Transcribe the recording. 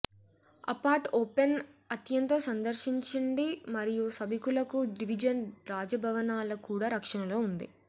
apart open అత్యంత సందర్శించండి మరియు సభికులకు డివిజన్ రాజభవనాల కూడా రక్షణలో ఉంది